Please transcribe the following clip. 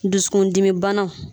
Dusukundimi banaw